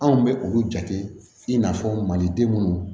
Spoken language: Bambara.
Anw bɛ olu jate i n'a fɔ maliden minnu